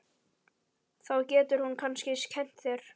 Þá getur hún kannski kennt mér.